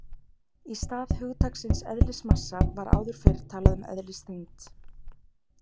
Í stað hugtaksins eðlismassa var áður fyrr talað um eðlisþyngd.